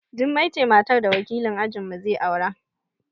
Jummai ce matar da wakilin ajin mu zai aura